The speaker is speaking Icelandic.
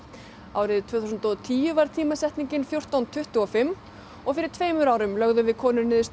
árið tvö þúsund og tíu var tímasetningin fjórtán tuttugu og fimm fyrir tveimur árum lögðum við konur niður